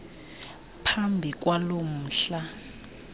phambi kwalo mhla